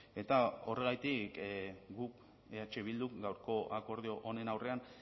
eta horregatik gu eh bildu gaurko akordio honen aurrean